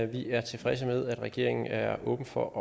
vi er tilfredse med at regeringen er åben for at